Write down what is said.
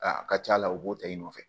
A ka ca la u b'o ta i nɔfɛ